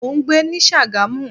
Mo ń gbé ní Sagamu.